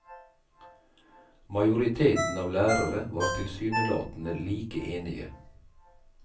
Majoriteten av lærere var tilsynelatende like enige.